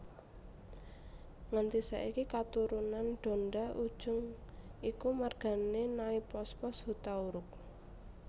Nganti saiki katurunan Donda Ujung iku margané Naipospos Hutauruk